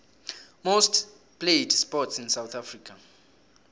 most played sports in south africa